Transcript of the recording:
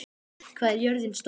Eir, hvað er jörðin stór?